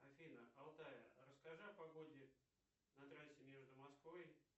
афина алтая расскажи о погоде на трассе между москвой